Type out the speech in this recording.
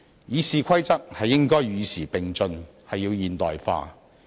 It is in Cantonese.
《議事規則》應該與時並進，要現代化。